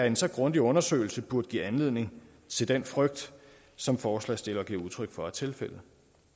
en så grundig undersøgelse burde give anledning til den frygt som forslagsstillerne giver udtryk for er tilfældet